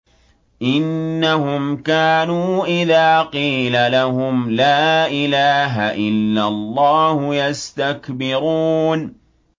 إِنَّهُمْ كَانُوا إِذَا قِيلَ لَهُمْ لَا إِلَٰهَ إِلَّا اللَّهُ يَسْتَكْبِرُونَ